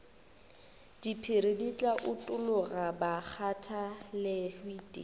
diphiri di tla utologa bakgathalehwiti